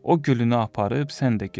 O gülünü aparıb sən də get.